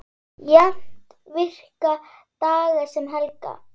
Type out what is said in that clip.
Jafnt virka daga sem helga.